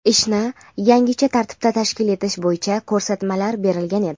ishni yangicha tartibda tashkil etish bo‘yicha ko‘rsatmalar berilgan edi.